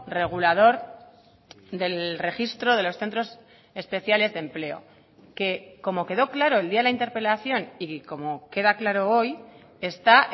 regulador del registro de los centros especiales de empleo que como quedó claro el día la interpelación y como queda claro hoy está